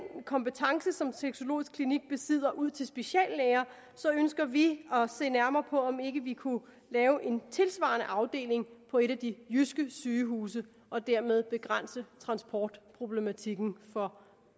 kompetence som sexologisk klinik besidder ud til speciallæger ønsker vi at se nærmere på om ikke vi kunne lave en tilsvarende afdeling på et af de jyske sygehuse og dermed begrænse transportproblematikken for